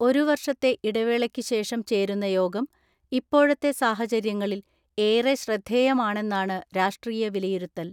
ഒരു വർഷത്തെ ഇടവേളയ്ക്കുശേഷം ചേരുന്ന യോഗം ഇപ്പോഴത്തെ സാഹചര്യങ്ങളിൽ ഏറെ ശ്രദ്ധേ യമാണെന്നാണ് രാഷ്ട്രീയ വിലയിരുത്തൽ.